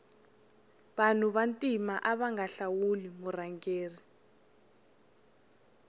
vanu va ntima avanga hlawuli murhangeri